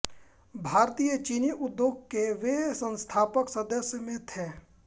भारतीय चीनी उद्योग के वे संस्थापक सदस्यों में थे